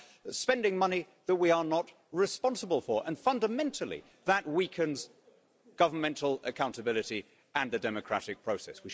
We are spending money that we are not responsible for and, fundamentally, that weakens governmental accountability and the democratic process.